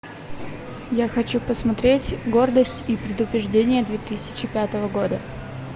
я хочу посмотреть гордость и предубеждение две тысячи пятого года